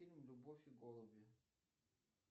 фильм любовь и голуби